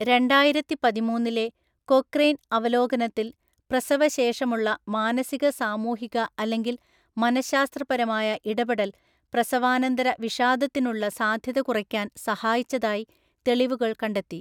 രണ്ടായിരത്തിപതിമൂന്നിലെ Cochrane അവലോകനത്തിൽ, പ്രസവശേഷമുള്ള മാനസിക സാമൂഹിക അല്ലെങ്കിൽ മനഃശാസ്ത്രപരമായ ഇടപെടൽ പ്രസവാനന്തര വിഷാദത്തിനുള്ള സാധ്യത കുറയ്ക്കാൻ സഹായിച്ചതായി തെളിവുകൾ കണ്ടെത്തി.